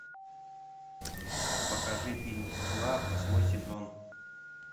покажи фильм мгла восьмой сезон